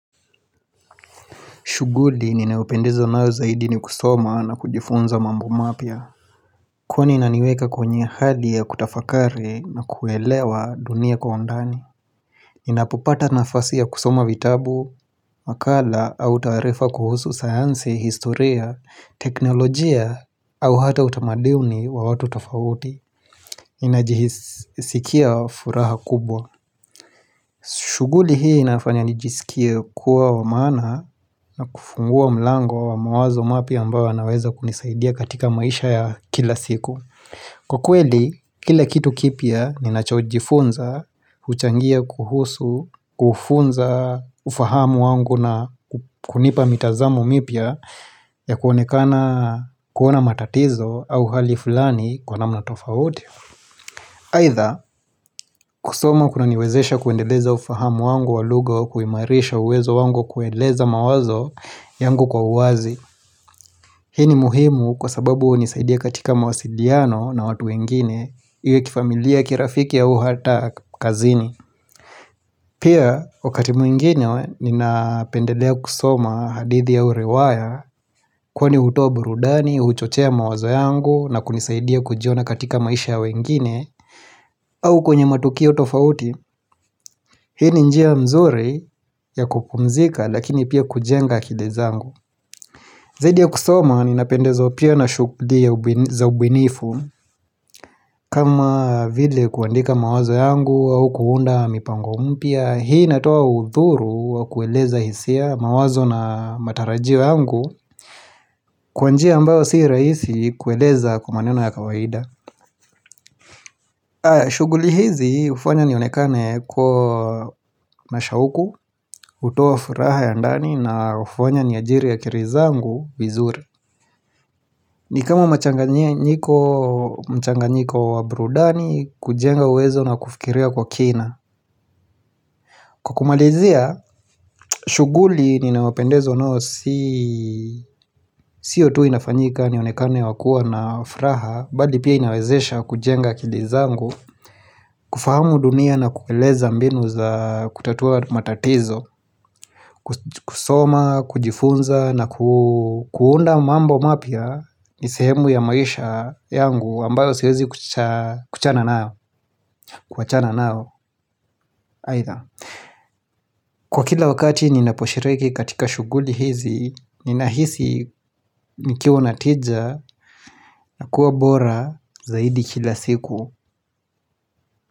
Shughuli ninaopendezwa nao zaidi ni kusoma na kujifunza mambo mapya. Kwani inaniweka kwenye hali ya kutafakari na kuelewa dunia kwa undani. Ninapopata nafasi ya kusoma vitabu, makala au taarifa kuhusu sayansi, historia, teknolojia au hata utamaduni wa watu tafouti. Ninajisikia furaha kubwa. Shughuli hii inafanya nijisikie kuwa wa maana na kufungua mlango wa mawazo mapya ambao yanaweza kunisaidia katika maisha ya kila siku Kwa kweli, kila kitu kipya ninachojifunza, huchangia kuhusu, kufunza, ufahamu wangu na kunipa mitazamo mipya ya kuonekana kuona matatizo au hali fulani kwa namna tofauti Aidha, kusoma kuna niwezesha kuendeleza ufahamu wangu wa lugha wa kuimarisha uwezo wangu kueleza mawazo yangu kwa uwazi. Hii ni muhimu kwa sababu hunisaidia katika mawasiliano na watu wengine, iwe kifamilia kirafiki au hata kazini. Pia, wakati mwingine ninapendelea kusoma hadithi au riwaya kwani hutoa burudani, huchochea mawazo yangu na kunisaidia kujiona katika maisha ya wengine au kwenye matukio tofauti. Hii ni njia nzuri ya kupumzika lakini pia kujenga akili zangu Zaidi ya kusoma ninapendezwa pia na shughuli za ubunifu kama vile kuandika mawazo yangu au kuunda mipango mpya Hii inatoa udhuru wa kueleza hisia mawazo na matarajio yangu Kwa njia ambao si rahisi kueleza maneno ya kawaida shughuli hizi hufanya nionekane kuwa na shauku hutoa furaha ya ndani na hufanya ni ajiri akili zangu vizuri ni kama mchanganyiko wa burudani kujenga uwezo na kufikiria kwa kina Kwa kumalizia, shughuli ninaopendezwa nao si Sio tu inafanyika nionekane wakuwa na furaha Bali pia inawezesha kujenga akili zangu kufahamu dunia na kueleza mbinu za kutatua matatizo kusoma, kujifunza na kuunda mambo mapya ni sehemu ya maisha yangu ambayo siwezi kuchana nao Kwa kila wakati ninaposhiriki katika shughuli hizi Ninahisi nikiwa na tija na kuwa bora zaidi kila siku.